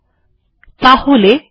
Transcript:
এখন আমরা দ্বিতীয় পৃষ্ঠা দেখছি